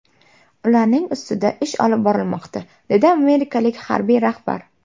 Ularning ustida ish olib borilmoqda”, dedi amerikalik harbiy rahbar.